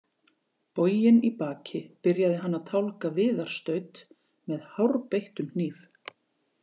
Boginn í baki byrjaði hann að tálga viðarstaut með hárbeittum hníf.